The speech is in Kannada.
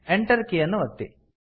Enter ಕೀ ಯನ್ನು ಒತ್ತಿ